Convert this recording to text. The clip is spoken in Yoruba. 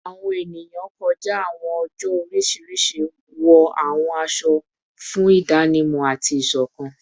Awọn eniyan kọja awọn oojọ oriṣiriṣi wọ awọn aṣọ aṣọ fun idanimọ ati isokan